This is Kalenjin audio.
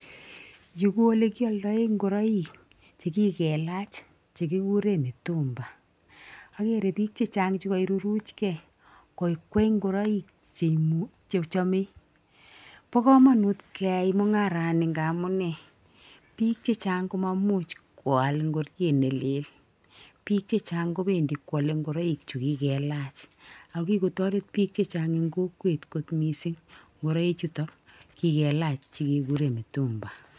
yu ko olikialdae nguroik chekikelach chekikure mitumba akere bik chechang chekairuruchkei kokwei ngureik chechamei. Bo komanut keyai mung'arani nga amune? Bik chechang komamuch koal ngoriet nelel, bik chechang kobendi koale ngoreik chekikelach akikotoret bik chechang eng kokwet nguroichuto kikelach chikekure mutumba